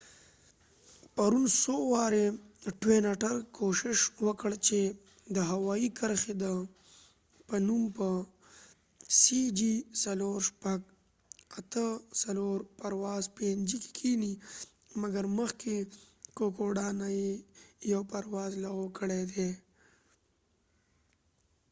ټوين اټرtwin otter پرون څو وار کوښښ وکړ چې د هوایي کرښی د png پرواز cg4684 په نوم په کوکوډا kokodaکې کېنی ، مګر مخکې نه یې یو پرواز لغو کړي دي